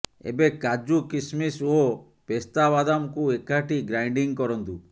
ଏବେ କାଜୁ କିସ୍ମିସ୍ ଓ ପେସ୍ତା ବାଦାମକୁ ଏକାଠି ଗ୍ରାଇଣ୍ଡିଂ କରନ୍ତୁ